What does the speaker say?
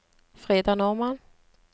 Frida Normann